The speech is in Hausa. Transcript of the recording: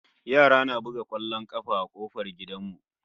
Yara na buga kwallon kafa a kofar gidan mu